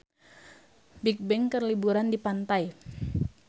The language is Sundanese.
Bigbang keur liburan di pantai